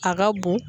A ka bon